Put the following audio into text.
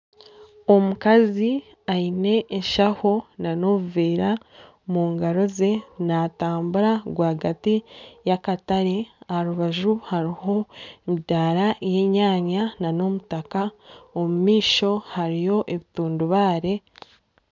Omukazi aine enshaho na n'obuveera omu ngaro ze natambura rwagati y'akatare aha rubaju hariho emidaara y'enyanya na n'omutaka omumaisho hariyo ebitundubare.